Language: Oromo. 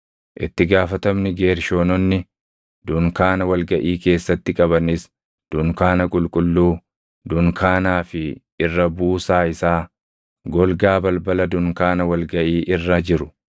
Itti gaafatamni Geershoononni dunkaana wal gaʼii keessatti qabanis dunkaana qulqulluu, dunkaanaa fi irra buusaa isaa, golgaa balbala dunkaana wal gaʼii irra jiru,